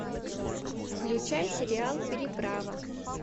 включай сериал переправа